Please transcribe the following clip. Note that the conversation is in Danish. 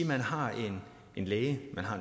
man har en læge